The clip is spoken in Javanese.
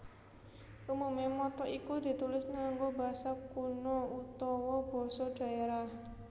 Umume motto iku ditulis nganggo basa kuna utawa basa dhaerah